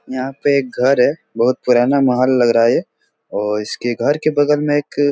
यहाँ पे एक घर है बहुत पुराना महल लग रहा ये और इसके घर के बगल मे एक --